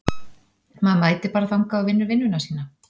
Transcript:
Maður mætir bara þangað og vinnur vinnuna sína.